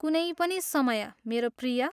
कुनै पनि समय, मेरो प्रिय।